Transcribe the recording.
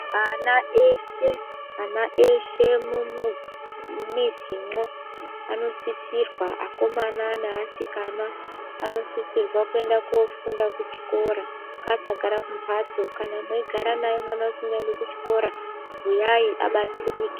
Ana eshe ana eshe mumii mumizimwo anosisirwa akomana neasikana anosisirwa kuenda kofunda kuchikora ngaasagara kumhatso kana mweigara naye mwana usingaendi kuchikora bhuyai abatsirike.